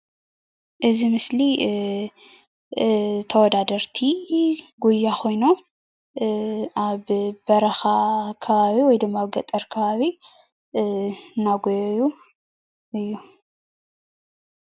እዚ ምስሊ ተወዳዳርቲ ጉያ ኮይኖም አብ በረኻ ከባቢ ወይ ገጠር ከባቢ እናጎየዩ እዮም።